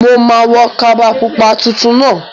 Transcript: Mo ma wo kaba pupa titun náà